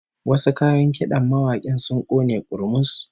Wasu kayan kidan mawakin sun kone kurmus